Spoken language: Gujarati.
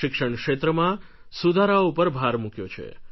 શિક્ષણ ક્ષેત્રમાં સુધારાઓ ઉપર ભાર મૂક્યો છે